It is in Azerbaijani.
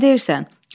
Kimə deyirsən?